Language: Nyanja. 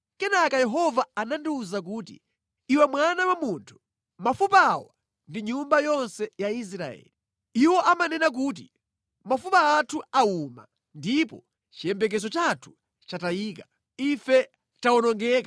Kenaka Yehova anandiwuza kuti, “Iwe mwana wa munthu, mafupa awa ndi nyumba yonse ya Israeli. Iwo amanena kuti, ‘Mafupa athu awuma ndipo chiyembekezo chathu chatayika, ife tawonongeka!’